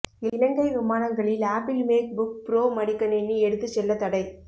இலங்கை விமானங்களில் Apple MacBook Pro மடிக்கணினி எடுத்துச் செல்ல தடை